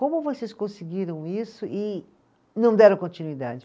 Como vocês conseguiram isso e não deram continuidade?